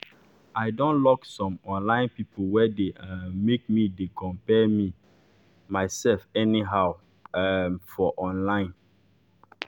i don lock some online people wey dey um make me dey compare me dey compare myself anyhow um for online.